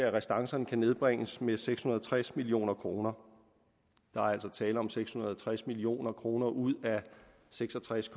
at restancerne kan nedbringes med seks hundrede og tres million kroner der er altså tale om seks hundrede og tres million kroner ud af seks og tres